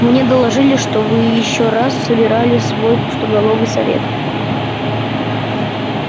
мне доложили что вы ещё раз собирали свой пустоголовый совет